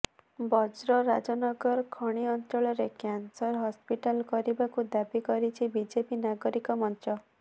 ବ୍ରଜରାଜନଗର ଖଣି ଅଞ୍ଚଳରେ cancer hospital କରିବାକୁ ଦାବି କରିଛି ବିଜେପି ନାଗରିକ ମଞ୍ଚ